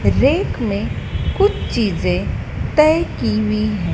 Rack में कुछ चीजें तय की हुई हैं।